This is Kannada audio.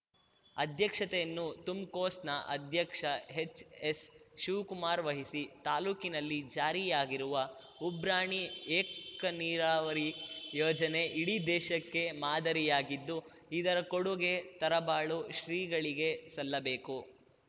ಅಧ್ಯಕ್ಷತೆಯನ್ನು ತುಮ್‌ಕೋಸ್‌ನ ಅಧ್ಯಕ್ಷ ಹೆಚ್‌ಎಸ್‌ ಶಿವಕುಮಾರ್‌ ವಹಿಸಿ ತಾಲೂಕಿನಲ್ಲಿ ಜಾರಿಯಾಗಿರುವ ಉಬ್ರಾಣಿ ಏಕನೀರಾವರಿ ಯೋಜನೆ ಇಡೀ ದೇಶಕ್ಕೆ ಮಾದರಿಯಾಗಿದ್ದು ಇದರ ಕೊಡುಗೆ ತರಬಾಳು ಶ್ರೀಗಳಿಗೆ ಸಲ್ಲಬೇಕು